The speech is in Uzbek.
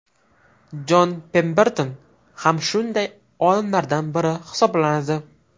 Jon Pemberton ham shunday olimlardan biri hisoblanadi.